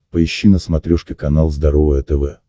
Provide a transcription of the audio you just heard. поищи на смотрешке канал здоровое тв